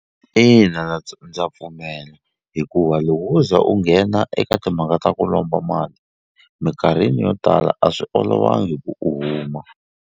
Ina ndza pfumela hikuva loko wo za u nghena eka timhaka ta ku lomba mali mikarhini yo tala a swi olovangi ku u huma.